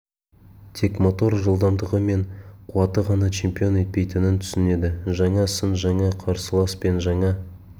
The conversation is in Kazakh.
тек мотор жылдамдығы мен қуаты ғана чемпион етпейтінін түсінеді жаңа сын жаңа қарсылас пен жаңа